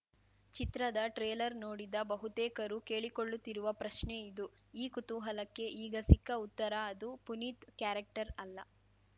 ಚಿತ್ರದ ಟ್ರೇಲರ್‌ ನೋಡಿದ ಬಹುತೇಕರು ಕೇಳಿಕೊಳ್ಳುತ್ತಿರುವ ಪ್ರಶ್ನೆ ಇದು ಈ ಕುತೂಹಲಕ್ಕೆ ಈಗ ಸಿಕ್ಕ ಉತ್ತರ ಅದು ಪುನೀತ್‌ ಕ್ಯಾರೆಕ್ಟರ್‌ ಅಲ್ಲ